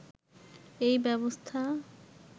এই ব্যবস্থা